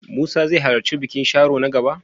Musa zai halarci bikin Sharo na gaba?